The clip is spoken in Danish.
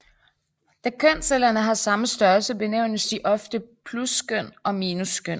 Da kønscellerne har samme størrelse benævnes de ofte pluskøn og minuskøn